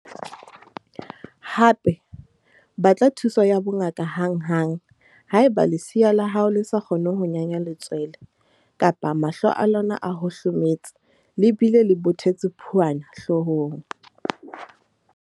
Hape, batla thuso ya bongaka hanghang haeba lesea la hao le sa kgone ho nyanya letswele kapa mahlo a lona a hohlometse le bile le bothetse phuana hloohong.